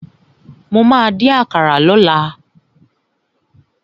Mo ma dín àkàrà lọ́la.